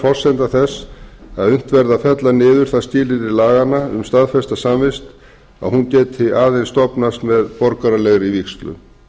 forsenda þess að unnt verði að fella niður það skilyrði laganna um staðfesta samvist að hún geti aðeins stofnast með borgaralegri vígslu